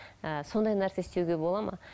ы сондай нәрсе істеуге болады ма